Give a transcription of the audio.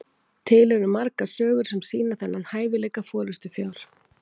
til eru margar sögur sem sýna þennan hæfileika forystufjár